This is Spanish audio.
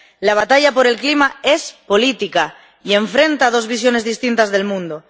La batalla por el clima es política y enfrenta dos visiones distintas del mundo.